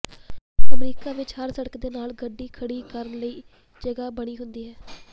America ਵਿਚ ਹਰ ਸੜਕ ਦੇ ਨਾਲ ਗੱਡੀ ਖੜੀ ਕਰਨ ਲਈ ਜਗਾਹ ਬਣੀ ਹੁੰਦੀ ਹੈ